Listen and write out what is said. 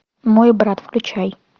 мой брат включай